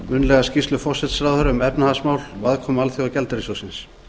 munnlega skýrslu forsætisráðherra um efnahagsmál og aðkomu alþjóðagjaldeyrissjóðsins